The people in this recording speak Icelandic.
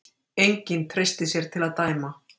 enginn treysti sér til að dæma